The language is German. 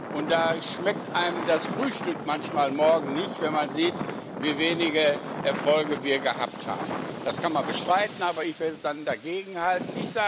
Und da schmeckt einem das Frühstück manchmal morgens nicht, wenn man sieht, wie wenige Erfolge wir gehabt haben. Das kann man bestreiten, aber ich würde dann dagegenhalten.